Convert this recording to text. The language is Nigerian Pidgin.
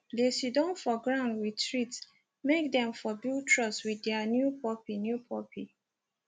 they siddon for ground with treats make them for build trust with their new puppy new puppy